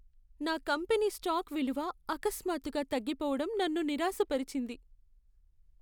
నా company stock విలువ అకస్మాత్తుగా తగ్గిపోవడం నన్ను నిరాశపరిచింది.